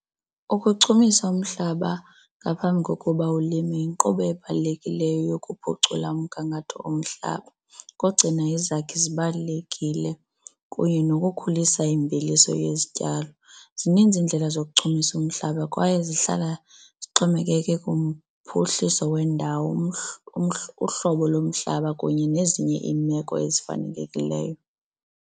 Ukuchumisa umhlaba ngaphambi kokuba ulime yinkqubo ebalulekileyo yokuphucula umgangatho omhlaba, ukugcina izakhi zibalulekile kunye nokukhulisa imveliso yezityalo. Zininzi iindlela zokuchumisa umhlaba kwaye zihlala zixhomekeke kumphuhliso wendawo uhlobo lomhlaba kunye nezinye iimeko ezifanelekileyo.